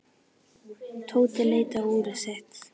Tóti leit á úrið sitt.